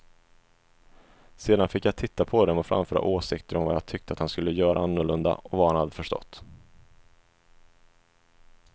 Sedan fick jag titta på dem och framföra åsikter om vad jag tyckte att han skulle göra annorlunda och vad han hade förstått.